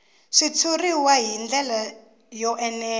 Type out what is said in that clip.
xitshuriwa hi ndlela yo enela